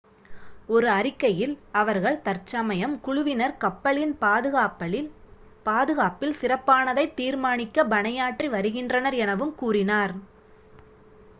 "ஒரு அறிக்கையில் அவர்கள் "தற்சமயம் குழுவினர் கப்பலின் பாதுகாப்பில் சிறப்பானதை தீர்மானிக்க பணியாற்றி வருகின்றனர்" எனவும் கூறினர்.